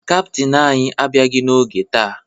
Kaptịn anyị abịaghị n'oge taa